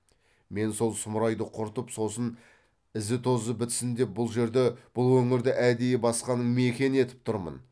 мен сол сұмырайды құртып сонын ізі тозы бітсін деп бұл жерді бұл өңірді әдейі басқаның мекені етіп тұрмын